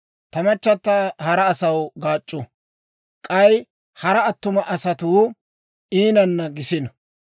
ta machchata hara asaw gaac'c'u; k'ay hara attuma asatuu iinanna gisino.